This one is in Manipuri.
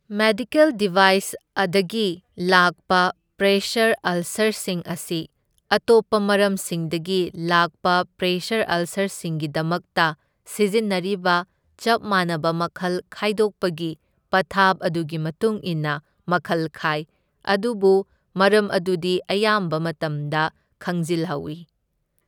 ꯃꯦꯗꯤꯀꯦꯜ ꯗꯤꯚꯥꯏꯁ ꯑꯗꯒꯤ ꯂꯥꯛꯄ ꯄ꯭ꯔꯦꯁꯔ ꯑꯜꯁꯔꯁꯤꯡ ꯑꯁꯤ ꯑꯇꯣꯞꯄ ꯃꯔꯝꯁꯤꯡꯗꯒꯤ ꯂꯥꯛꯄ ꯄ꯭ꯔꯦꯁꯔ ꯑꯜꯁꯔꯁꯤꯡꯒꯤꯗꯃꯛꯇ ꯁꯤꯖꯤꯟꯅꯔꯤꯕ ꯆꯞ ꯃꯥꯟꯅꯕ ꯃꯈꯜ ꯈꯥꯢꯗꯣꯛꯄꯒꯤ ꯄꯊꯥꯞ ꯑꯗꯨꯒꯤ ꯃꯇꯨꯡ ꯏꯟꯅ ꯃꯈꯜ ꯈꯥꯢ, ꯑꯗꯨꯕꯨ ꯃꯔꯝ ꯑꯗꯨꯗꯤ ꯑꯌꯥꯝꯕ ꯃꯇꯝꯗ ꯈꯪꯖꯜ ꯍꯧꯢ꯫